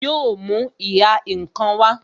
Yo mú ìhà ǹkan wá